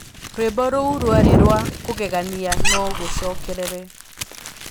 rwĩmbo rũu rwarĩ rwa kũgegania no gũcokerere